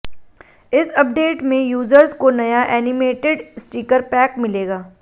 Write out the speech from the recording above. इस अपडेट में यूजर्स को नया एनिमेटेड स्टिकर पैक मिलेगा